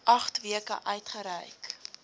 agt weke uitgereik